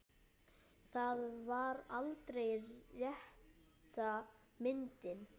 Það var aldrei rétta myndin.